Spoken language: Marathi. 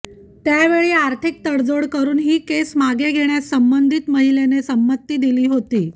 त्यावेळी आर्थिक तडजोड करून ही केस मागे घेण्यास संबंधित महिलेने संमती दिली होती